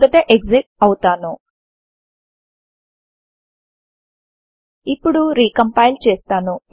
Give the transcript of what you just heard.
మొదట ఎక్సిట్ అవుతాను ఇప్పుడు రికంపైల్ చేస్తాను